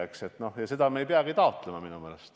Ja minu meelest seda me ei peagi taotlema.